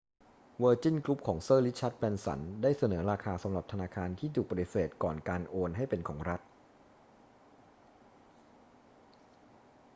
เวอร์จินกรุ๊ปของเซอร์ริชาร์ด แบรนสันได้เสนอราคาสำหรับธนาคารที่ถูกปฏิเสธก่อนการโอนให้เป็นของรัฐ